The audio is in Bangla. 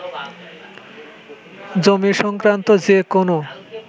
জমি সংক্রান্ত যে কোনো